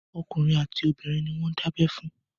Okùnrin àti obìnrin ni wọ́n ń dábẹ́ fún.